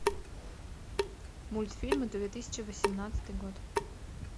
мультфильмы две тысячи восемнадцатый год